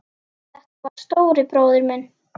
Þetta var stóri bróðir minn.